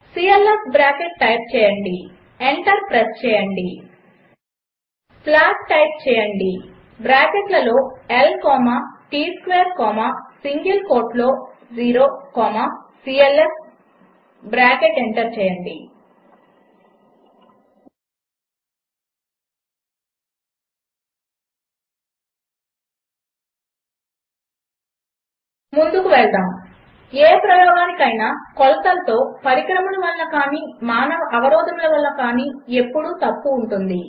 CLF bracket type చేయండి enter press చేయండి plot type చేయండి బ్రాకెట్లలో L comma T square comma single కోట్లో ఓ సీఎల్ఎఫ్ బ్రాకెట్ ఎంటర్ చేయండి ముందుకు వెళ్దాం ఏ ప్రయోగమునకైనా కొలతలలో పరికరముల వలన కాని మానవ అవరోధముల వలన కాని ఎప్పుడు తప్పు ఉంటుంది